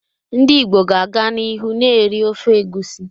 Ndị Igbo ga-aga n'ihu na-eri ofe egusi.